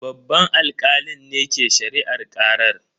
Babban alkalin ne ke shari'ar karar.